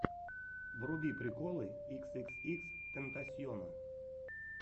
вруби приколы икс икс икс тентасьона